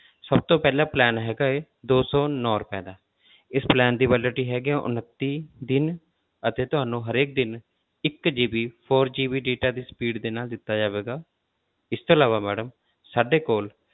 ਸਭ ਤੋਂ ਪਹਿਲਾ plan ਹੈਗਾ ਹੈ ਦੋ ਸੌ ਨੋਂ ਰੁਪਏ ਦਾ ਇਸ plan ਦੀ validity ਹੈਗੀ ਆ ਉਣੰਤੀ ਦਿਨ ਅਤੇ ਤੁਹਾਨੂੰ ਹਰੇਕ ਦਿਨ ਇੱਕ GB four GB data ਦੀ speed ਦੇ ਨਾਲ ਦਿੱਤਾ ਜਾਵੇਗਾ, ਇਸ ਤੋਂ ਇਲਾਵਾ madam ਸਾਡੇ ਕੋਲ